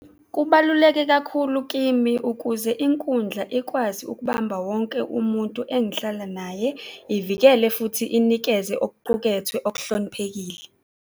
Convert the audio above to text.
Kubaluleke kakhulu kimi ukuze inkundla ikwazi ukubamba wonke umuntu engihlala naye, ivikele, futhi inikeze okuqukethwe okuhloniphekile.